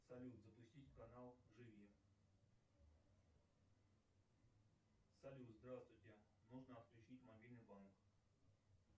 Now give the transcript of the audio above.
салют запустить канал живи салют здравствуйте нужно отключить мобильный банк